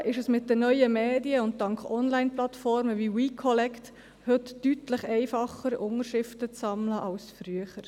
Zudem ist es mit den neuen Medien und dank Onlineplattformen wie «WeCollect» heute deutlich einfacher, Unterschriften zu sammeln als früher.